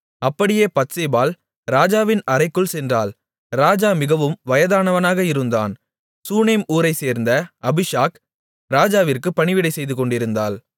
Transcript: அப்படியே பத்சேபாள் ராஜாவின் அறைக்குள் சென்றாள் ராஜா மிகவும் வயதானவனாக இருந்தான் சூனேம் ஊரைச்சேர்ந்த அபிஷாக் ராஜாவிற்குப் பணிவிடை செய்துகொண்டிருந்தாள்